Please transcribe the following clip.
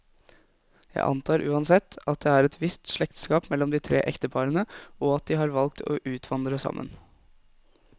Jeg antar uansett, at det er et visst slektskap mellom de tre ekteparene, og at de har valgt å utvandre sammen.